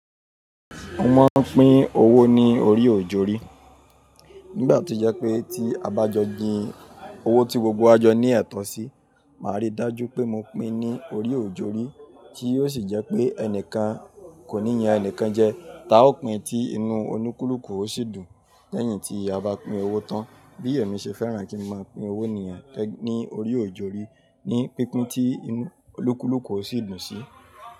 Mo máa ń pín owó ní orí òjórí. Nígbà tí ó jẹ́ pé tí a bá jọ jin owó tí gbogbo wa jọ ní ẹ̀tọ́ sí, màá rí i dájú pé mo pín ní orí òjórí tí ó sì jẹ́ pé ẹnìkan kò ní yan ẹnìkan jẹ. Táa ó pín tí inú olúkúlùkù ó sì dùn lẹ́yìn tí a bá pín owó tán. Bí èmi ṣe fẹ́ràn kí n máa pín owó nìyen ní orí òjórí ní pípin tí inú olúkúlùkù ó sì dùn sí.